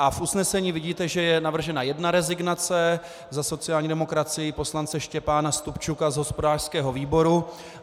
A v usnesení vidíte, že je navržena jedna rezignace, za sociální demokracii poslance Štěpána Stupčuka z hospodářského výboru.